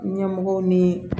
Ɲɛmɔgɔw ni